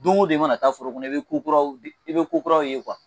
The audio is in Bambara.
Don o don i mana taa foro kɔnɔ i bɛ i bɛ kokuraw ye